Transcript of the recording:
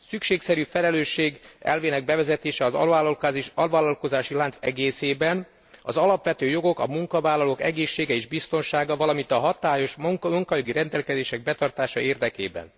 Szükségszerű a felelősség elvének bevezetése az alvállalkozási lánc egészében, az alapvető jogok, a munkavállalók egészsége és biztonsága, valamint a hatályos munkajogi rendelkezések betartása érdekében.